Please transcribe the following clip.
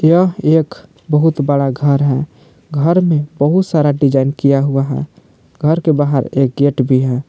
यह एक बहुत बड़ा घर है घर में बहुत सारा डिजाइन किया हुआ है घर के बाहर एक गेट भी है।